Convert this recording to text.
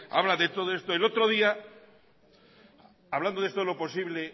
habla de todo esto el otro día hablando de esto lo posible